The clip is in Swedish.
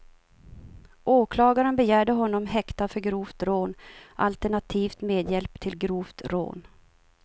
Åklagaren begärde honom häktad för grovt rån, alternativt medhjälp till grovt rån.